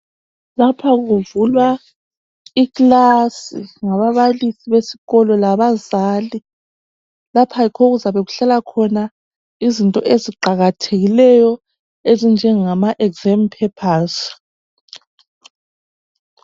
Laphakuvulwa ikilasi ngababalisi besikolo labazali, laphayikho okuzabe kuhlala khona izinto eziqakathekileyo ezinjengamaphepha omhloliso.